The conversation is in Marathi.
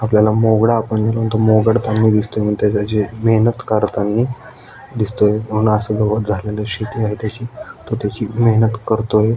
आपल्याला मोगडा आपण म्हणतो मोगड चांगला दिसतो मग त्याची जी मेहनत करतानी दिसतोय म्हणुन असं गवत शेती आहे त्याची तो त्याची मेहनत करतोय.